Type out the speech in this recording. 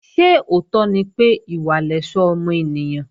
Ṣé òótọ́ ni pé, ìwà lẹ̀ṣọ́ ọmọ ènìyàn?